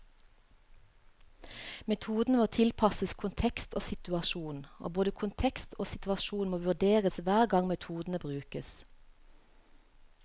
Metodene må tilpasses kontekst og situasjon, og både kontekst og situasjon må vurderes hver gang metodene brukes.